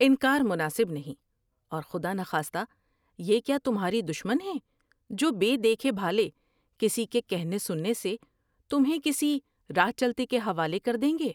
انکارمناسب نہیں اور خدانخواستہ یہ کیا تمھاری دشمن ہیں جو بے دیکھے بھالے کسی کے کہنے سننے سے تمھیں کسی راہ چلتے کے حوالے کر دیں گے ۔